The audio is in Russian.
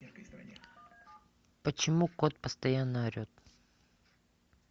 почему кот постоянно орет